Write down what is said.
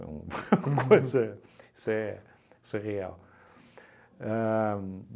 uma coisa. Isso é isso é real. Ahn